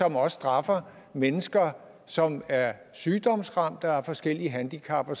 også straffer mennesker som er sygdomsramte og har forskellige handicap og